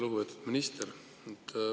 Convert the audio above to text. Lugupeetud minister!